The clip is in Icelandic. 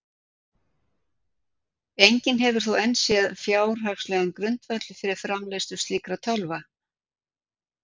Enginn hefur þó enn séð fjárhagslegan grundvöll fyrir framleiðslu slíkra tölva.